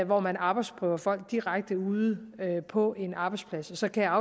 hvor man arbejdsprøver folk direkte ude på en arbejdsplads så kan jeg